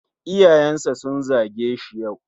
Iyayensa sun zage shi yau.